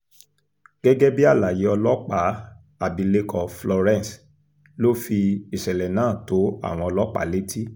gẹ́gẹ́ bí àlàyé ọlọ́pàá abilékọ florence ló fi ìṣẹ̀lẹ̀ náà tó àwọn ọlọ́pàá létí